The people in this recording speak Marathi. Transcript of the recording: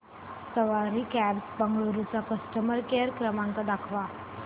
सवारी कॅब्झ बंगळुरू चा कस्टमर केअर क्रमांक दाखवा